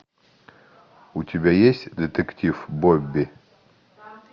у тебя есть детектив бобби